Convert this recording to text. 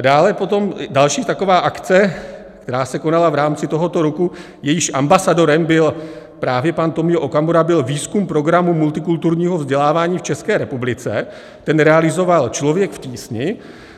Dále potom další taková akce, která se konala v rámci tohoto roku, jejímž ambasadorem byl právě pan Tomio Okamura, byl výzkum programů multikulturního vzdělávání v České republice, ten realizoval Člověk v tísni,